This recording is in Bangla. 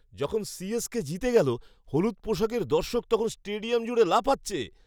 যখন সি.এস.কে জিতে গেল, হলুদ পোশাকের দর্শক তখন স্টেডিয়াম জুড়ে লাফাচ্ছে!